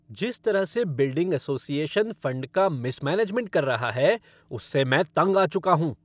जिस तरह से बिल्डिंग असोसिएशन फ़ंड का मिसमैनेजमेंट कर रहा है, उससे मैं तंग आ चुका हूँ।